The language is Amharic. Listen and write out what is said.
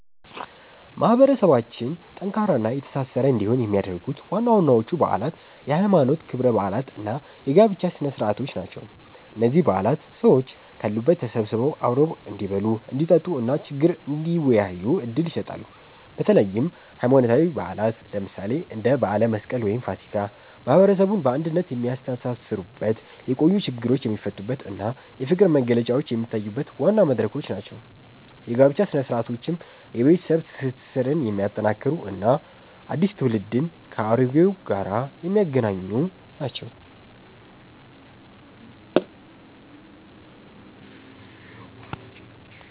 ማህበረሰባችን ጠንካራና የተሳሰረ እንዲሆን የሚያደርጉት ዋናዎቹ በዓላት የሃይማኖት ክብረ በዓላት እና የጋብቻ ስነ-ስርዓቶች ናቸው። እነዚህ በዓላት ሰዎች ካሉበት ተሰብስበው አብረው እንዲበሉ፣ እንዲጠጡ እና ችግር እንዲወያዩ ዕድል ይሰጣሉ። በተለይም ሃይማኖታዊ በዓላት፣ ለምሳሌ እንደ በዓለ መስቀል ወይም ፋሲካ፣ ማህበረሰቡን በአንድነት የሚያስተሳስሩበት፣ የቆዩ ችግሮች የሚፈቱበት እና የፍቅር መግለጫዎች የሚታዩበት ዋና መድረኮች ናቸው። የጋብቻ ሥነ-ስርዓቶችም የቤተሰብ ትስስርን የሚያጠናክሩ እና አዲስ ትውልድን ከአሮጌው ጋር የሚያገናኙ ናቸው።